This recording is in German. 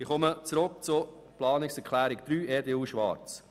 Ich komme zurück zu Planungserklärung 3 EDU/Schwarz: